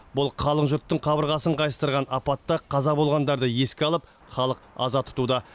бұл қалың жұрттың қабырғасын қайыстырған апатта қаза болғандарды еске алып халық аза тұтуда